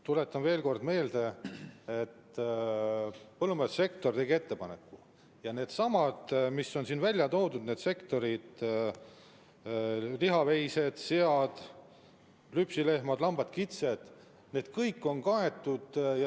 Tuletan veel kord meelde, et põllumajandussektor tegi ettepaneku ja need, mis on siin välja toodud, lihaveised, sead, lüpsilehmad, lambad, kitsed, on kõik kaetud.